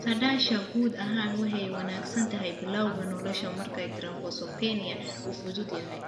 Saadaasha guud ahaan way wanaagsan tahay bilawga nolosha marka thrombocytopenia uu fudud yahay.